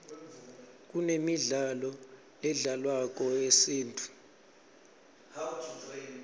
kunemidlalo ledlalwako yesintfu